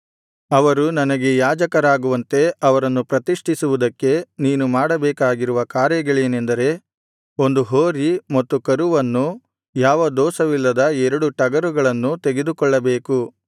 ಅವರು ನನಗೆ ಯಾಜಕರಾಗುವಂತೆ ಅವರನ್ನು ಪ್ರತಿಷ್ಠಿಸುವುದಕ್ಕೆ ನೀನು ಮಾಡಬೇಕಾಗಿರುವ ಕಾರ್ಯಗಳೆನೆಂದರೆ ಒಂದು ಹೋರಿ ಮತ್ತು ಕರುವನ್ನು ಯಾವ ದೋಷವಿಲ್ಲದ ಎರಡು ಟಗರುಗಳನ್ನೂ ತೆಗೆದುಕೊಳ್ಳಬೇಕು